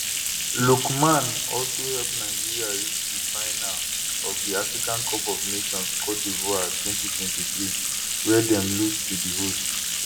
lookman also help nigeria reach di final of di africa cup of nations cote divoire 2023 wia dem lose to di hosts